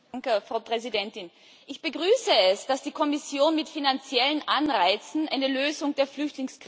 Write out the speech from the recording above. Ich begrüße es, dass die Kommission mit finanziellen Anreizen eine Lösung der Flüchtlingskrise unterstützen will.